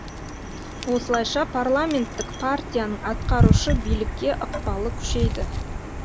осылайша парламенттік партияның атқарушы билікке ықпалы күшейді